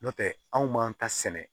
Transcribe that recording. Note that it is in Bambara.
N'o tɛ anw m'an ta sɛnɛ